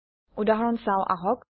উদাহৰণ চাওঁ আহক